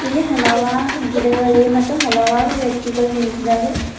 ಇಲ್ಲಿ ಹಲವಾರು ಗಿಡಗಳಿವೆ ಮತ್ತು ಹಲವಾರು ವ್ಯಕ್ತಿಗಳು ನಿಂತಿದ್ದಾರೆ.